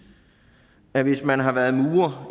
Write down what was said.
man hvis man har været murer